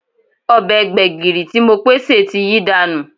Ọbẹ̀ gbẹ̀gìrì tí Mopé sè ti yí dànù